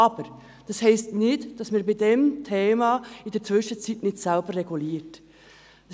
Aber das heisst nicht, dass wir dieses Thema in der Zwischenzeit nicht selber regulieren können.